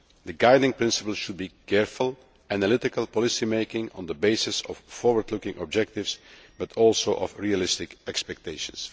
The guiding principle should be careful, analytical policymaking on the basis of forward looking objectives but also of realistic expectations.